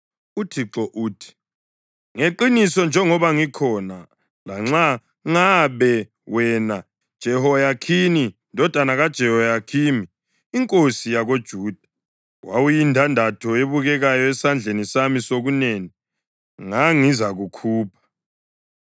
UThixo uthi, “Ngeqiniso njengoba ngikhona, lanxa ngabe wena, Jehoyakhini ndodana kaJehoyakhimi inkosi yakoJuda, wawuyindandatho ebukekayo esandleni sami sokunene, ngangizakukhupha.